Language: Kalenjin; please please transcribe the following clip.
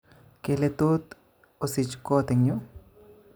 Kele tot osich kot eng yu?